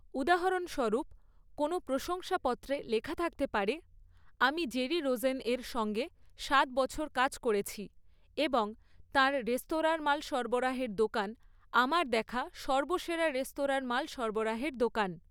উদাহরণস্বরূপ, কোনো প্রশংসাপত্রে লেখা থাকতে পারে, 'আমি জেরি রোজেন এর সঙ্গে সাত বছর কাজ করেছি এবং তাঁর রেস্তোরাঁর মাল সরবরাহের দোকান আমার দেখা সর্বসেরা রেস্তোরাঁর মাল সরবরাহের দোকান'